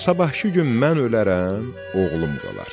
Sabahkı gün mən ölərəm, oğlum qalar.